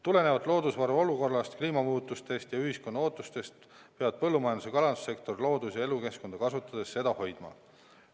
Tulenevalt loodusvarade olukorrast, kliimamuutustest ja ühiskonna ootustest peavad põllumajandus- ja kalandussektor loodus- ja elukeskkonda kasutades seda hoidma.